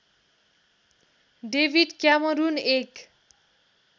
David Cameron एक